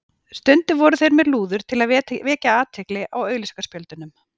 Stundum voru þeir með lúður til að vekja athygli á auglýsingaspjöldunum.